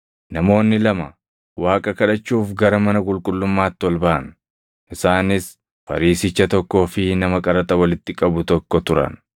“Namoonni lama Waaqa kadhachuuf gara mana qulqullummaatti ol baʼan; isaanis Fariisicha tokkoo fi nama qaraxa walitti qabu tokko turan.